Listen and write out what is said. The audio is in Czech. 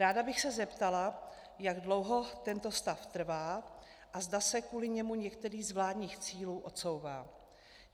Ráda bych se zeptala, jak dlouho tento stav trvá a zda se kvůli němu některý z vládních cílů odsouvá.